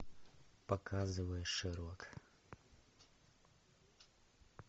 показывай шерлок